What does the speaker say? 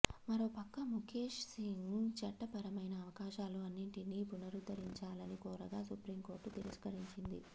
మరో పక్క ముఖేష్ సింగ్ చట్ట పరమైన అవకాశాలు అన్నిటినీ పునరుద్ధరించాలని కోరగా సుప్రీం కోర్టు తిరస్కరించింది